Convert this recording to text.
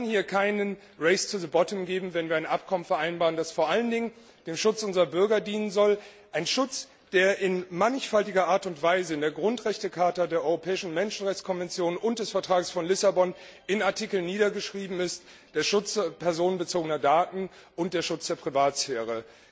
Es kann hier kein race to the bottom geben, wenn wir ein Abkommen vereinbaren, das vor allen Dingen dem Schutz unserer Bürger dienen soll, einem Schutz, der in mannigfaltiger Art und Weise in der Grundrechte Charta, der Europäischen Menschenrechtskonvention und dem Vertrag von Lissabon in Artikeln niedergeschrieben ist der Schutz personenbezogener Daten und der Schutz der Privatsphäre.